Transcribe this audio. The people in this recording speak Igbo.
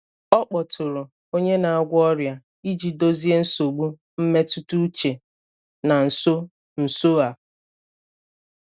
Ọ kpọtụrụ onye na-agwọ ọrịa iji dozie nsogbu mmetụta uche na nso nso a.